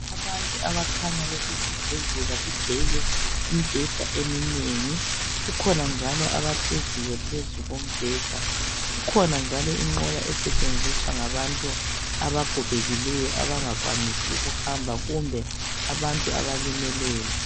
Abantu abakhanya besesibhedlela kugcwele imibheda eminengi kukhona njalo abahleziyo phezu kombheda. Kukhona njalo inqola esetshenziswa ngabantu abagogekileyo abangakwanisi ukuhamba kumbe abalimeleyo.